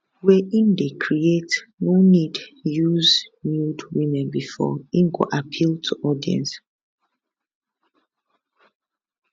wey im dey create no need use nude women bifor im go appeal to audience